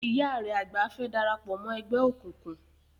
Ìyá rẹ àgbà fẹ́ darapọ̀ mọ́ ẹgbẹ́ òkùnkùn.